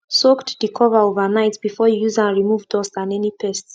soaked de cover overnight before you use am remove dust and any pest